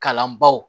Kalan baw